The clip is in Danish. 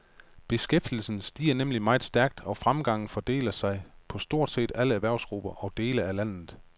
Beskæftigelsen stiger nemlig meget stærkt og fremgangen fordeler sig på stort set alle erhvervsgrupper og dele af landet.